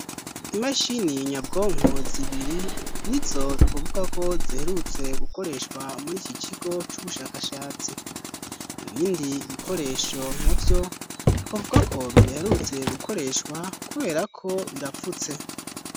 Imashini nyabwonko zibiri nizo twovuga ko ziherutse gukoreshwa muri iki kigo c'ubushakashatsi. Ibindi ibikoresho navyo, twovuga ko bidaherutse gukoreshwa kubera ko birapfutse.